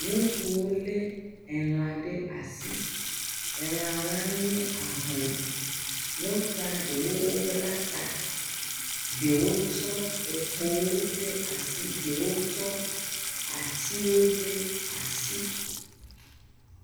Ŋutsuwo le elã ɖe asi. Elã la nye ahlɔ̃. Ŋutsua ɖewo wobla ta, ɖewo tsɔ ekpowo ɖe asi, ɖewo atiwo ɖe asi.